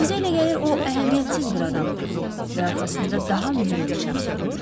Sizə elə gəlir o əhəmiyyətsiz bir adamdır və arxasında daha mühüm bir şəxs durur?